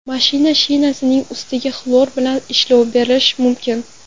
Mashina shinasining ustiga xlor bilan ishlov berish mumkin.